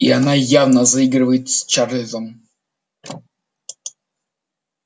и она явно заигрывает с чарлзом